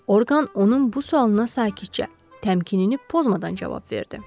Orqan onun bu sualına sakitcə, təmkinini pozmadan cavab verdi.